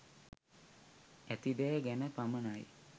ඇති දෑ ගැන පමණයි.